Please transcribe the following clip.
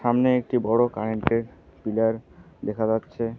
সামনে একটি বড় কারেন্ট -এর পিলার দেখা যাচ্ছে।